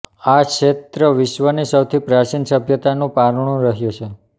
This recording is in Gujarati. આ ક્ષેત્ર વિશ્વની સૌથી પ્રાચીન સભ્યતાનું પારણું રહ્યો છે